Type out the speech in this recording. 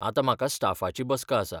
आतां म्हाका स्टाफाची बसका आसा.